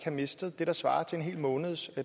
mistet det der svarer til en hel måneds